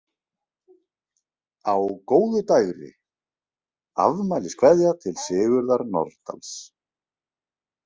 , Á góðu dægri: Afmæliskveðja til Sigurðar Nordals.